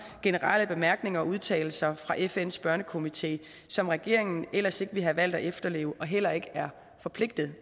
generelle bemærkninger og udtalelser fra fns børnekomité som regeringen ellers ikke ville have valgt at efterleve og heller ikke er forpligtet